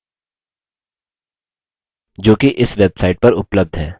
जोकि इस website पर उपलब्ध है